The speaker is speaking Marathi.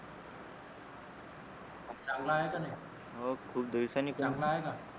चांगला आहे का तू हो खूप दिवसांनी